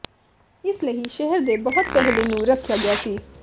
ਇਸ ਲਈ ਸ਼ਹਿਰ ਦੇ ਬਹੁਤ ਪਹਿਲੇ ਨੂੰ ਰੱਖਿਆ ਗਿਆ ਸੀ